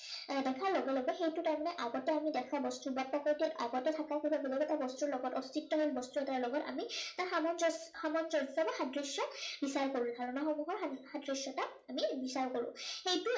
এৰ দেখাৰ লগে লগে সেইটো তাৰমানে আগতে আমি দেখা বস্তুবিলাকৰ সৈতে আগতে থাকা কোনো এটা বেলেগ এটা বস্তুৰ লগত অস্তিত্বহীন বস্তু এটাৰ লগত আমি সামঞ্জস্য, সামঞ্জস্য বা সাদৃশ্য় বিচাৰ কৰি চাও। তেনে সমূহৰ সাদৃশ্য়তা আমি বিচাৰ কৰো। সেই